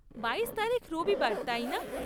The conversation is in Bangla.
বাইশ তারিখ রবিবার, তাই না?